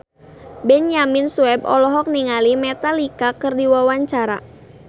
Benyamin Sueb olohok ningali Metallica keur diwawancara